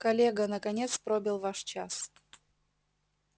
коллега наконец пробил ваш час